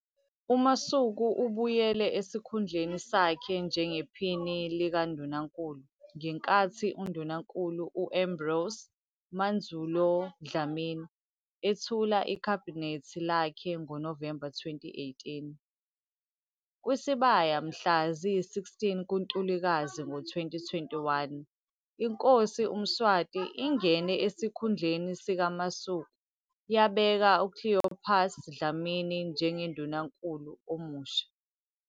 UMasuku ubuyele esikhundleni sakhe njengePhini likaNdunankulu ngenkathi uNdunankulu u- Ambrose Mandvulo Dlamini ethula iKhabhinethi lakhe ngoNovemba 2018. Kwisibaya mhla ziyi-16 kuNtulikazi ngo-2021, iNkosi uMswati ingene esikhundleni sikaMasuku yabeka uCleopas Dlamini njengoNdunankulu omusha.